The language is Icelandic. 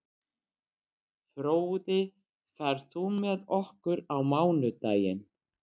Fróði, ferð þú með okkur á mánudaginn?